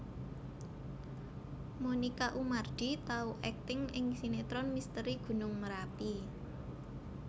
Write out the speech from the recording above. Monica Oemardi tau akting ing sinetron Misteri Gunung Merapi